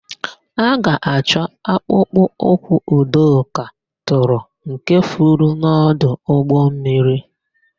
A ga-achọ akpụkpọ ụkwụ Udoka tụrụ nke furu n'ọdụ ụgbọmmiri.